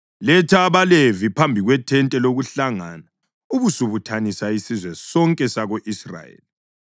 Letha abaLevi phambi kwethente lokuhlangana ubusubuthanisa isizwe sonke sako-Israyeli.